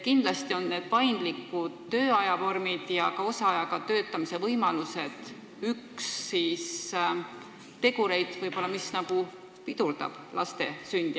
Kindlasti on paindlike tööajavormide ja osaajaga töötamise võimaluse vähesus üks tegureid, mis pidurdab laste sündi.